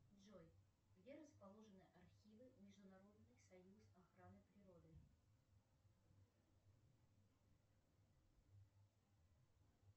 джой где расположены архивы международный союз охраны природы